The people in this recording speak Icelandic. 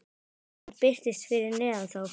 Land birtist fyrir neðan þá.